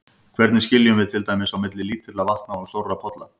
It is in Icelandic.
Hvernig skiljum við til dæmis á milli lítilla vatna og stórra polla?